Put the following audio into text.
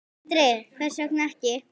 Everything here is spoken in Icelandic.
Sindri: Hvers vegna ekki?